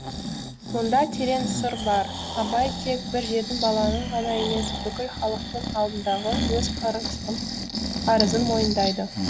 мұнда терең сыр бар абай тек бір жетім баланың ғана емес бүкіл халықтың алдындағы өз қарызын мойындайды